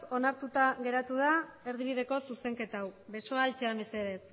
onartuta geratu da erdibideko zuzenketa hau besoa altxa mesedez